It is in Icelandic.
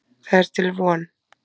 Það er til von.